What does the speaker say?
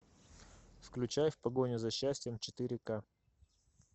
включай в погоне за счастьем четыре ка